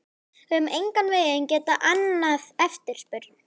Við höfum engan veginn getað annað eftirspurn.